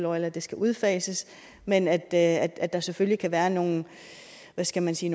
oil at det skal udfases men at at der selvfølgelig kan være nogle hvad skal man sige